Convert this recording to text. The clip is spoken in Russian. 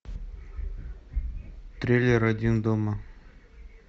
трейлер один дома